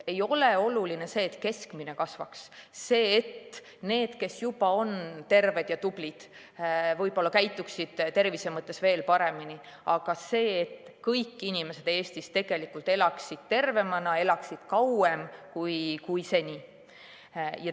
Ei ole oluline see, et keskmine kasvaks, see, et need, kes juba on terved ja tublid, võib-olla käituksid tervise mõttes veel paremini, vaid see, et kõik inimesed Eestis elaksid tervemana, elaksid kauem kui seni.